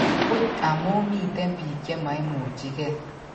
buch amu miten biik chemaimuchige